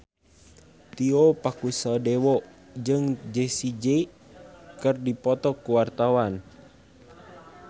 Tio Pakusadewo jeung Jessie J keur dipoto ku wartawan